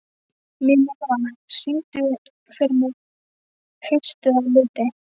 Minerva, syngdu fyrir mig „Haustið á liti“.